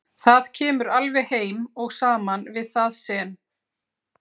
Það kemur alveg heim og saman við það sem